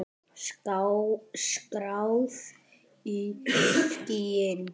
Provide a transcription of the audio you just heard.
Skráð í skýin.